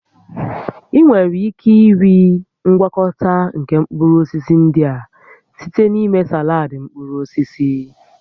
Ị nwere ike iri ngwakọta nke mkpụrụ osisi ndị a site na ịme saladị mkpụrụ osisi